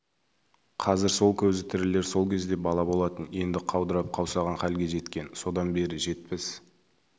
қазір сол көзі тірілер сол кезде бала болатын енді қаудырап қаусаған халге жеткен содан бері жетпіс